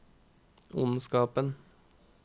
ondskapen